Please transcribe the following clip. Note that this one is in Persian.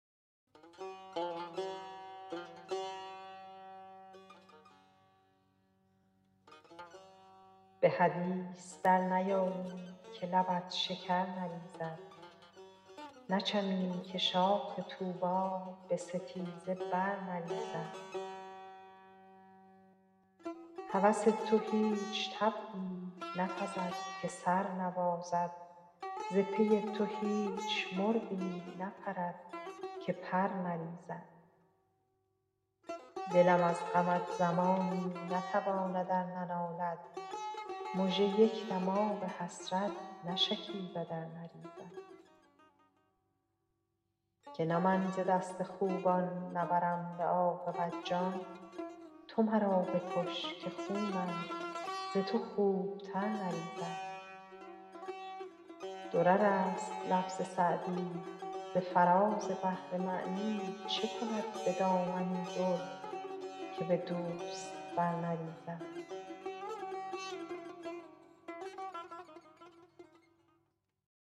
به حدیث در نیایی که لبت شکر نریزد نچمی که شاخ طوبی به ستیزه بر نریزد هوس تو هیچ طبعی نپزد که سر نبازد ز پی تو هیچ مرغی نپرد که پر نریزد دلم از غمت زمانی نتواند ار ننالد مژه یک دم آب حسرت نشکیبد ار نریزد که نه من ز دست خوبان نبرم به عاقبت جان تو مرا بکش که خونم ز تو خوبتر نریزد درر است لفظ سعدی ز فراز بحر معنی چه کند به دامنی در که به دوست بر نریزد